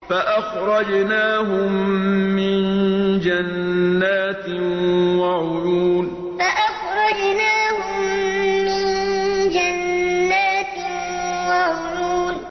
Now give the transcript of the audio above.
فَأَخْرَجْنَاهُم مِّن جَنَّاتٍ وَعُيُونٍ فَأَخْرَجْنَاهُم مِّن جَنَّاتٍ وَعُيُونٍ